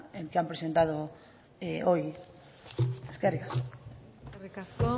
que han presentado hoy eskerrik asko eskerrik asko